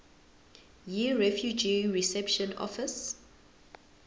yirefugee reception office